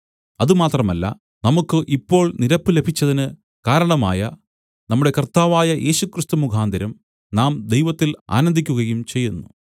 അതുമാത്രമല്ല നമുക്കു ഇപ്പോൾ നിരപ്പു ലഭിച്ചതിന് കാരണമായ നമ്മുടെ കർത്താവായ യേശുക്രിസ്തു മുഖാന്തരം നാം ദൈവത്തിൽ ആനന്ദിക്കുകയും ചെയ്യുന്നു